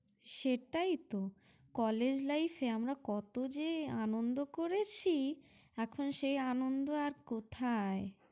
সেটাই তো college life এ আমরা কতো যে আনন্দ করেছি, এখন সে আনন্দ আর কোথায়?